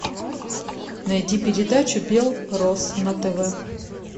найди передачу бел рос на тв